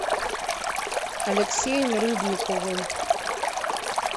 алексеем рыбниковым